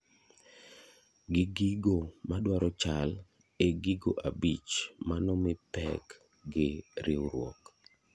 Gi gigo modwaro chal e gigo abich manomii pek gi riuruok